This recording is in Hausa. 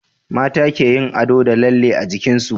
mata keyin ado da lalle a jikinsu